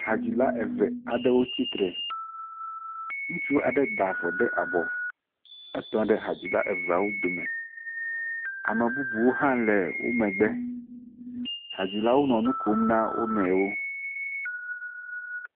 Hadzila eve aɖewo tsitre. Ŋutsu aɖe da avɔ ɖe abɔ. Etɔ hadzila eveawo dome. Ame bubu hã le wo megbe. Hadzilewo le nu kom na wonuiwo.